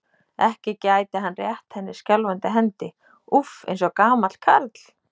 Ekki gæti hann rétt henni skjálfandi hendi, úff, eins og gamall karl.